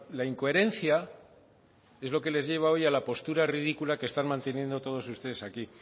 la incoherencia es lo que les lleva hoy a la postura ridícula que están manteniendo todos ustedes aquí